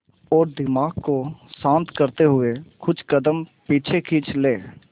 और दिमाग को शांत करते हुए कुछ कदम पीछे खींच लें